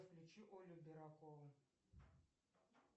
включи олю берокову